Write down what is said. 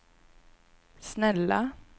snälla